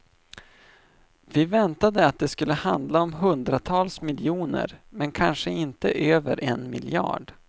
Vi väntade att det skulle handla om hundratals miljoner, men kanske inte över en miljard.